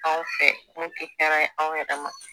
Anw fɛ mun tɛ hɛrɛ ye aw yɛrɛ ma